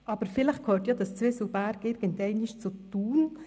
Aber vielleicht gehört ja dieses Zwieselberg irgendwann mal zu Thun.